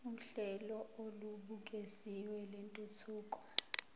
uhlelo olubukeziwe lwentuthuko